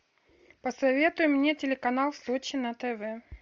посоветуй мне телеканал сочи на тв